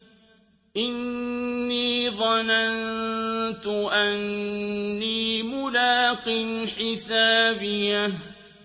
إِنِّي ظَنَنتُ أَنِّي مُلَاقٍ حِسَابِيَهْ